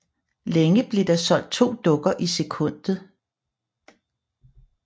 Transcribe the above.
Længe blev der solgt to dukker i sekundet